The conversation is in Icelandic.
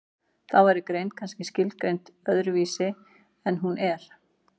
þá væri greind kannski skilgreind öðru vísi en nú er